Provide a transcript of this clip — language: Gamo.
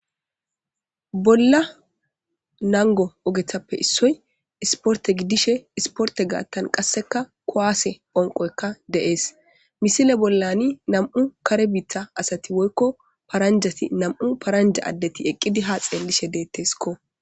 Bolla nango ogethappe issoy isporte giddishe isporte gaattan qasseka koaase phonqoykka de,ees misile bollani nam,u kare biita asati woykko paranjati nam,u paranja addeti eqqidi ha xeellishe deetteskko.